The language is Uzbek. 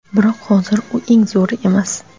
Biroq, hozir u eng zo‘ri emas.